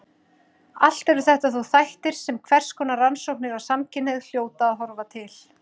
Allt eru þetta þó þættir sem hverskonar rannsóknir á samkynhneigð hljóta að horfa til.